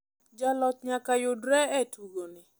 jaloch nyaka yudre e tugoni .